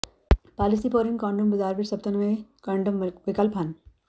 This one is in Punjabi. ਪਾਲੀਿਸਪੋਰੀਨ ਕੋਂਡੋਮਸ ਬਾਜ਼ਾਰ ਵਿੱਚ ਸਭ ਤੋਂ ਨਵੇਂ ਕੰਡੋਮ ਵਿਕਲਪ ਹਨ